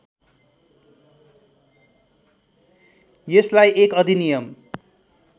यसलाई एक अधिनियम